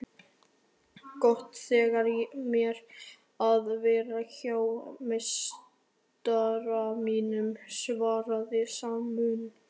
Gott þykir mér að vera hjá meistara mínum svaraði Sæmundur.